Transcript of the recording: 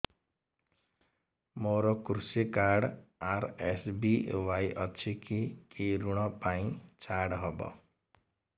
ମୋର କୃଷି card RSBY ଅଛି କି କି ଋଗ ପାଇଁ ଛାଡ଼ ହବ